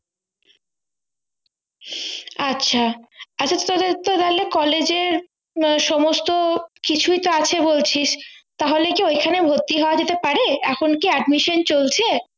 আচ্ছা আচ্ছা তোদের তো তাহলে Collage এ সমস্ত কিছুই তো আছে বলছিস তাহলে কি ওইখানে ভর্তি হওয়া যেতে হতে পারে এখন কি admission চলছে